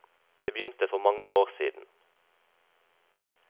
Det begynte for mange år siden.